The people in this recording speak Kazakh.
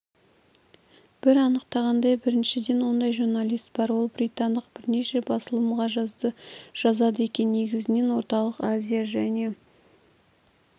бір анықтағандай біріншіден ондай журналист бар ол британдық бірнеше басылымға жазады екен негізінен орталық азия және